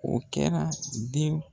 O kɛra denw.